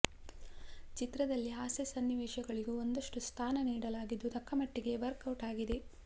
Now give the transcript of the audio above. ಚಿತ್ರದಲ್ಲಿ ಹಾಸ್ಯ ಸನ್ನಿವೇಶಗಳಿಗೂ ಒಂದಷ್ಟು ಸ್ಥಾನ ನೀಡಲಾಗಿದ್ದು ತಕ್ಕಮಟ್ಟಿಗೆ ವರ್ಕ್ ಔಟ್ ಆಗಿದೆ